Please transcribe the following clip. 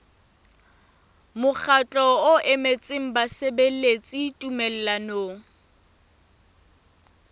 mokgatlo o emetseng basebeletsi tumellanong